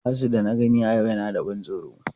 Asu da na gani a yau yana da ban tsoro.